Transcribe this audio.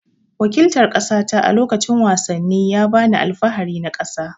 Waƙiltar kasata a lokacin wasanni ya ba ni alfahari na ƙasa.